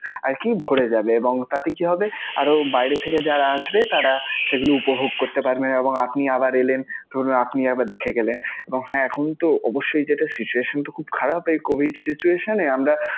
আরকি ভরে যাবে এবং তাতে কি হবে? আরও বাইরে থেকে যারা আসবে তারা সেগুলো উপভোগ করতে পারবে এবং আপনি আবার এলেন, ধরুন আপনি আবার দেখে গেলেন এবং হ্যাঁ এখনতো অবশ্যই যেটা situation তো খুব খারাপ এই covid situation এ. আমরা